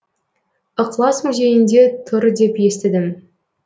ықылас музейінде тұр деп естідім